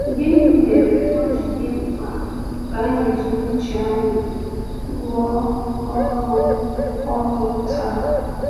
Gịnị mere o ji dị mkpa ka anyị jiri uche anyị rụọ ọrụ ọrụ taa?